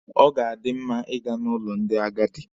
Ọ ga-adi mma Ị ga n'ụlọ ndị agadi.